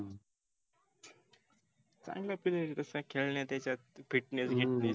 चांगल आहे पण खेळण्यात याच्यात. fitness हे ते.